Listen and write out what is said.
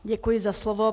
Děkuji za slovo.